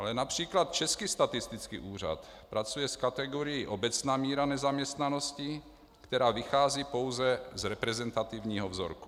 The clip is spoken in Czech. Ale například Český statistický úřad pracuje s kategorií obecná míra nezaměstnanosti, která vychází pouze z reprezentativního vzorku.